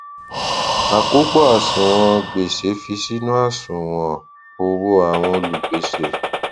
àkópọ àṣùwọn gbèsè fi sínú àṣùwọn owó àwọn olùgbèsè